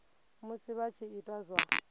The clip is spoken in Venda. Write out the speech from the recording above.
musi vha tshi ita zwa